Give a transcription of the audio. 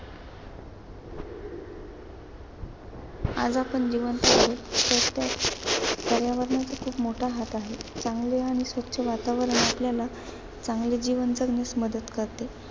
आज आपण जिवंत आहे यांच्यात पर्यावरणाचा खूप मोठा हात आहे. चांगले आणि स्वच्छ वातावरण आपल्याला चांगले जीवन जगण्यास मदत करते.